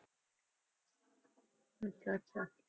ਅੱਛਾ ਅੱਛਾ